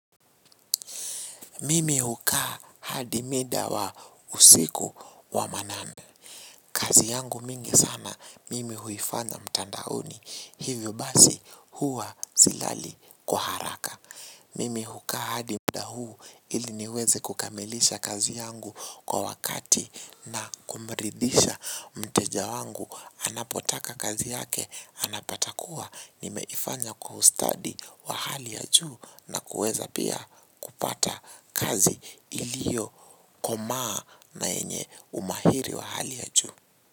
Mimi hukaa hadi mida wa usiku wa manane. Kazi yangu mingi sana, mimi huifanya mtandaoni. Hivyo basi huwa silali kwa haraka. Mimi hukaa hadi muda huu ili niweze kukamilisha kazi yangu kwa wakati na kumridhisha mteja wangu. Anapotaka kazi yake, anapata kuwa nimeifanya kwa ustadi wa hali ya juu na kueza pia kupata kazi ilio komaa na yenye umahiri wa hali ya juu.